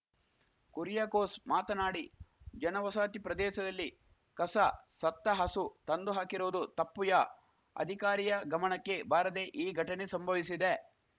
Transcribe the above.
ಕುರಿಯಾಕೋಸ್‌ ಮಾತನಾಡಿ ಜನವಾಸತಿ ಪ್ರದೇಶದಲ್ಲಿ ಕಸ ಸತ್ತ ಹಸು ತಂದು ಹಾಕಿರುವುದು ತಪ್ಪುಯ ಅಧಿಕಾರಿಯ ಗಮಣಕ್ಕೆ ಬಾರದೆ ಈ ಘಟನೆ ಸಂಭವಿಸಿದೆ